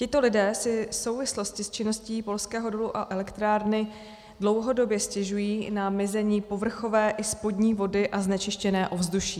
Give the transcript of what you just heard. Tito lidé si v souvislosti s činností polského dolu a elektrárny dlouhodobě stěžují na mizení povrchové i spodní vody a znečištěné ovzduší.